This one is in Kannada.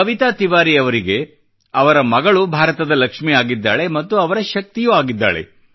ಕವಿತಾ ತಿವಾರಿ ಅವರಿಗೆ ಅವರ ಮಗಳು ಭಾರತದ ಲಕ್ಷ್ಮಿ ಆಗಿದ್ದಾಳೆ ಮತ್ತು ಅವರ ಶಕ್ತಿಯೂ ಆಗಿದ್ದಾಳೆ